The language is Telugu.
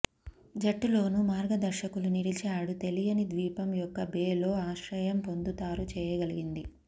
జట్టులోనూ మార్గదర్శకులు నిలిచాడు తెలియని ద్వీపం యొక్క బే లో ఆశ్రయం పొందుతారు చేయగలిగింది